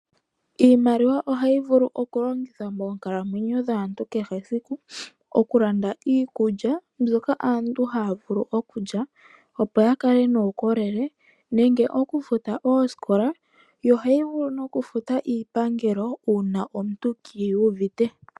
IiIimaliwa hayi vulu oku longithwa moonkalamwenyo dhaantu kehe esiku, oku landa iikulya mbyoka aantu haya vulu okulya opo ya kale nuukolele nenge oku futa oosikola, yo ohayi vulu nokufuta iipangelo, una omuntu ke iyuvite.